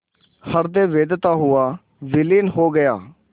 हृदय वेधता हुआ विलीन हो गया